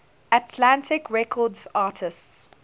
atlantic records artists